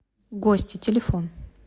гости телефон